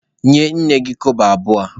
Nye nne gị kobo abụọ a!